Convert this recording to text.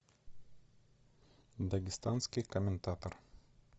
дагестанский коментатор